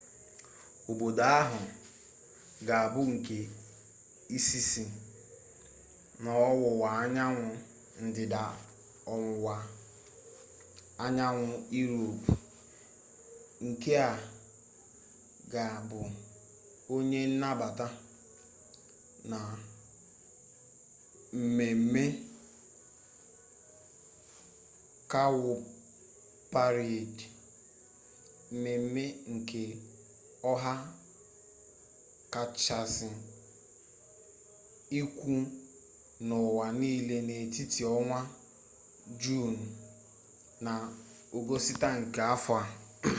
obodo ahụ ga abụ nke izizi n'ọwụwa anyanwụ ndịda ọwụwa anyanwụ iroopu nke ga bụ onye nnabata na mmeme kawụparedị mmeme nka ọha kachasị ukwu n'ụwa n'ile n'etiti ọnwa juunu na ọgọstụ nke afọ a